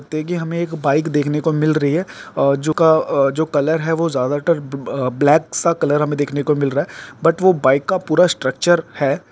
देखिये हमे एक बाइक देखने को मिल रही है और जो क- अ-जो कलर है वो ज्यादातर अ ब- ब्लैक सा कलर हमे देखने को मिल रहा है बट वो बाइक का पूरा स्ट्रक्चर है।